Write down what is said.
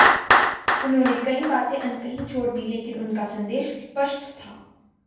उन्होंने कई बातें अनकही छोड़ दी लेकिन उनका संदेश स्पष्ट था